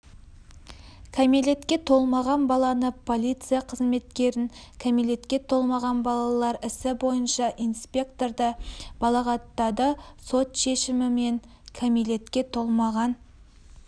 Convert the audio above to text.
кәмелетке толмаған баласы полиция қызметкерін кәмелетке толмаған балалар ісі бойынша инспекторды балағаттады сот шешімімен кәмелетке толмаған